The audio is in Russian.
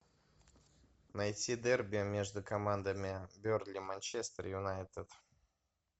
найти дерби между командами бернли манчестер юнайтед